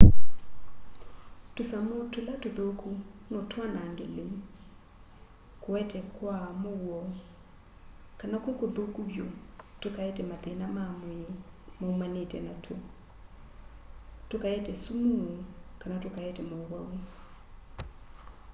tũsamũ tũla tũthũku no twanage lĩu kũete kwaa mũuo kana kwĩ kũthũku vyũ tũkaete mathĩna ma mwĩĩ maumanĩĩte natw'o tũkaete sũmũ kana tũkaete maũwau